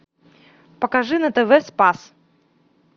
покажи на тв спас